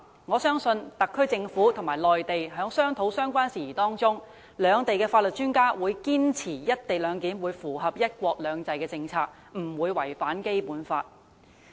我相信特區政府和內地當局在商討相關事宜的過程中，兩地法律專家必會堅持確保"一地兩檢"方案符合"一國兩制"政策，不會違反《基本法》。